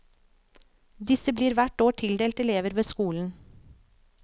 Disse blir hvert år tildelt elever ved skolen.